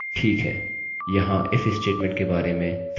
यदि शर्त सही है तो यह कोड के एक पाथ को निष्पादित करता है